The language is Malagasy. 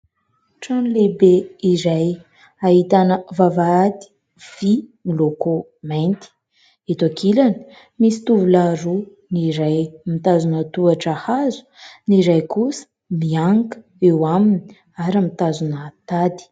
Trano lehibe iray ahitana vavahady vy miloko mainty. Eto ankilany, misy tovolahy roa. Ny iray mitazona tohatra hazo, ny iray kosa mianika eo aminy ary mitazona tady.